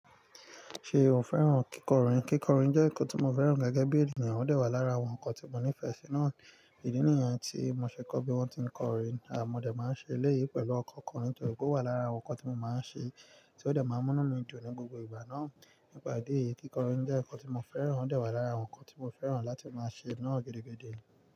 Ṣe o fẹ́ràn kíkọrin? Kíkọrin jẹ́ nǹkan tí mo fẹ́ràn gẹ́gẹ́ bí ènìyàn, ó de wà lára àwọn nǹkan tí mo nífẹ̀ẹ́ sí náà. Ìdí nìyẹn tí mo ṣe kọ́ bí wọ́n ti ń kọrin, àmọ́ dẹ̀ máa ń ṣe eléyìí pẹ̀lú ọ̀kọ̀ọ̀kan nítorí ó wà lára àwọn nǹkan tí mo máa ń ṣe tí ó dẹ̀ máa ń múnú mi dun ní gbogbo ìgbà náà. Nípa ìdí èyí, kíkọrin jẹ́ nǹkan tí mo fẹ́ràn, ó de wà lára àwọn nǹkan tí mo fẹ́ràn láti máa ṣe náà gẹ́dẹ́ gẹ́dẹ́.